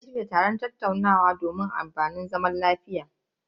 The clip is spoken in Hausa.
Malam zai shirya taron tattaunawa akan batun amfanin zaman lafiya.